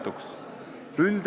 Austatud Riigikogu liikmed!